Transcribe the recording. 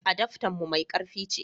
adaftan mu mai karfi ce